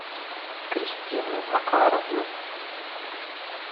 кристину макаровну